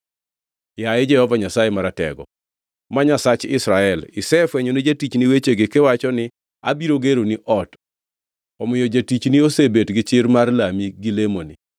“Yaye Jehova Nyasaye Maratego, ma Nyasach Israel, isefwenyo ni jatichni wechegi kiwacho ni, ‘Abiro geroni ot.’ Omiyo jatichni osebet gi chir mar lami gi lemoni.